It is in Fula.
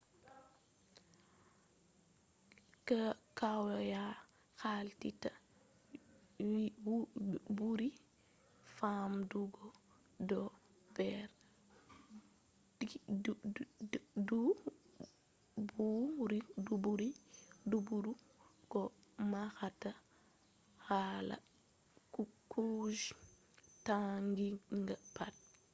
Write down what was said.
kwaya halitta buri famdugo do'der duburu ko mahata kala kuje taginga pat